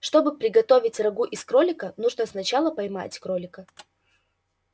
чтобы приготовить рагу из кролика нужно сначала поймать кролика